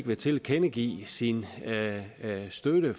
vil tilkendegive sin støtte